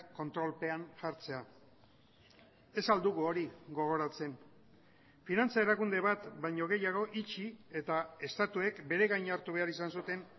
kontrolpean jartzea ez al dugu hori gogoratzen finantza erakunde bat baino gehiago itxi eta estatuek bere gain hartu behar izan zuten